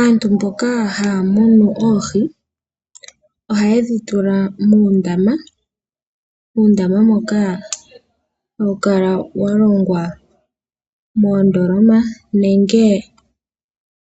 Aantu mboka haya munu oohi ohaye dhi tula muundama, muundama moka hawu kala wa longwa moondoloma nenge